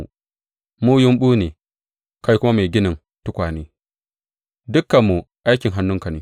Mu yumɓu ne, kai kuma mai ginin tukwane; dukanmu aikin hannunka ne.